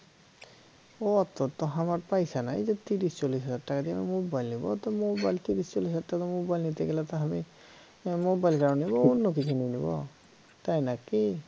অত তো আমার পয়সা নাই যে তিরিশ চল্লিশ হাজার টাকা দিয়ে মোবাইল নেব তো মোবাইল তিরিশ চল্লিশ হাজার টাকা দিয়ে মোবাইল নিতে গেলে তো তাহলে মোবাইল কেন নেব অন্য কিছু নিয়ে নেব তাই না কি?